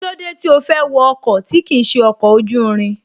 Kílódé tí ó fẹ́ wọ ọkọ̀ tí kìí ṣe ọkọ̀ ojú irin